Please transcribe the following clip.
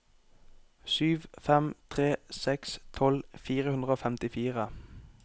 sju fem tre seks tolv fire hundre og femtifire